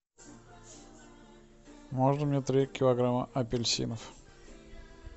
можно мне три килограмма апельсинов